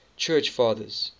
church fathers